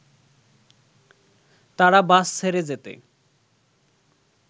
তারা বাস ছেড়ে যেতে